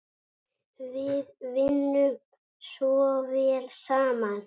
Við vinnum svo vel saman.